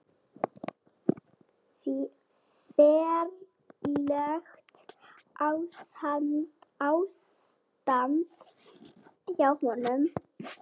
Ferlegt ástand hjá honum.